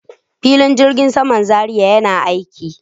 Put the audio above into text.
Filin jirgin saman Zaria yana aiki.